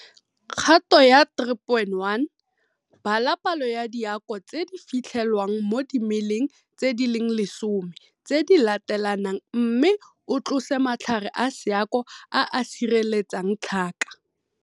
Kgato ya 3.1 - Bala palo ya diako tse di fitlhelwang mo dimeleng tse di leng lesome tse di latelanang mme o tlose matlhare a seako a a sireletsang tlhaka.